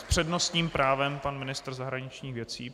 S přednostním právem pan ministr zahraničních věcí.